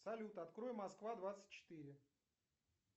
салют открой москва двадцать четыре